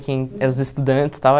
Quem eram os estudantes e tal.